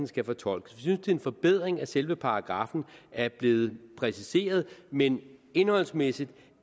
skal fortolkes vi det er en forbedring at selve paragraffen er blevet præciseret men indholdsmæssigt